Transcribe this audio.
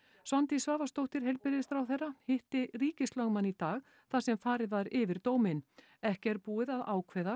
Svandís Svavarsdóttir heilbrigðisráðherra hitti ríkislögmann í dag þar sem farið var yfir dóminn ekki er búið að ákveða